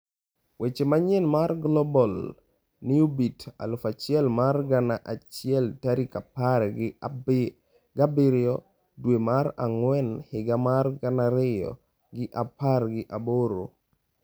Weche manyien mar Global Newsbeat 1000 mar gana achiel tarik apar gi abiriyo dwe mar ang'wen higa mar gana ariyo gi apar gi aboro